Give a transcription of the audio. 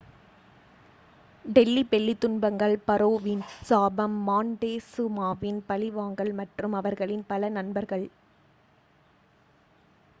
Delhi belly துன்பங்கள் பாரோவின் சாபம் மாண்டெசுமாவின் பழிவாங்கல் மற்றும் அவர்களின் பல நண்பர்கள்